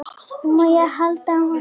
Má ég halda á honum?